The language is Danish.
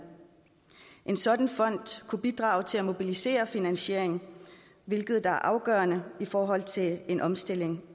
en sådan fond kunne bidrage til at mobilisere finansiering hvilket er afgørende i forhold til en omstilling